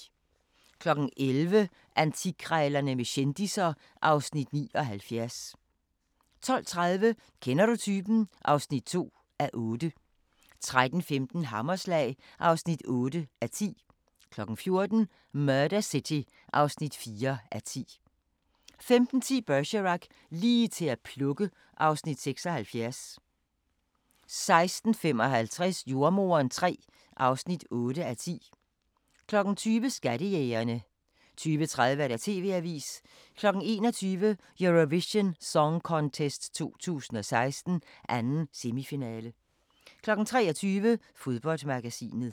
11:00: Antikkrejlerne med kendisser (Afs. 79) 12:30: Kender du typen? (2:8) 13:15: Hammerslag (8:10) 14:00: Murder City (4:10) 15:10: Bergerac: Lige til at plukke (Afs. 76) 16:55: Jordemoderen III (8:10) 20:00: Skattejægerne 20:30: TV-avisen 21:00: Eurovision Song Contest 2016, 2. semifinale 23:00: Fodboldmagasinet